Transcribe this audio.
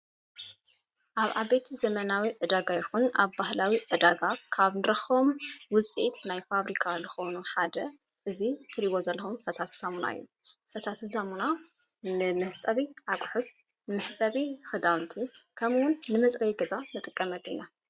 ኣብ ኣቤት ዘመናዊ እዳጋ ይኹን ኣብ ባህላዊ እዳጋ ካብ ንራኾም ውፂት ናይ ፋብሪካ ልኾኑ ሓደ እዙይ ትሪይወዘለኹም ፈሳሰ ሳሙና ዩ ፈሳሰ ዛሙና ንምሕጸቢ ኣቝሑት ምሕሰቢ ኽዳንቲ ከምውን ንመጽረይገዛ ነጥቀመሉ ኢና።